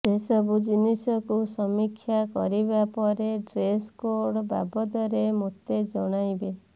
ସେ ସବୁ ଜିନିଷକୁ ସମୀକ୍ଷା କରିବା ପରେ ଡ୍ରେସ କୋଡ୍ ବାବଦରେ ମୋତେ ଜଣାଇବେ